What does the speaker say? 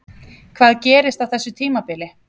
Hvað gerist á þessu tímabili?